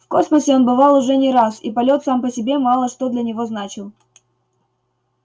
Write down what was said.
в космосе он бывал уже не раз и полет сам по себе мало что для него значил